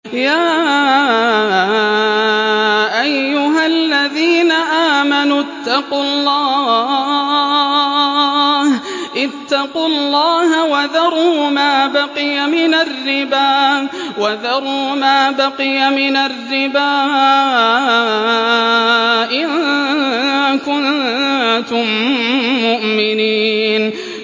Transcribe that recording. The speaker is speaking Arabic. يَا أَيُّهَا الَّذِينَ آمَنُوا اتَّقُوا اللَّهَ وَذَرُوا مَا بَقِيَ مِنَ الرِّبَا إِن كُنتُم مُّؤْمِنِينَ